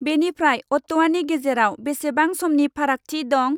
बेनिफ्राय अत्ट'वानि गेजेराव बेसेबां समनि फारागथि दं?